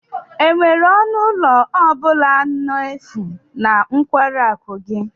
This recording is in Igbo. Enwere ọnụ ụlọ ọ bụla n'efu na nkwari akụ gị?